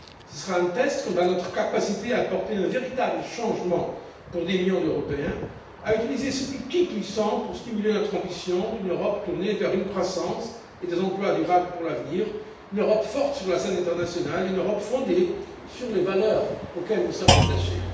Ce sera un test quant à notre capacité à apporter un véritable changement pour des millions d'Européens, à utiliser cet outil puissant pour stimuler notre ambition d'une Europe tournée vers une croissance et des emplois durables pour l'avenir, une Europe forte sur la scène internationale et une Europe fondée sur les valeurs auxquelles nous sommes attachés.